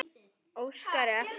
Óskari eftir.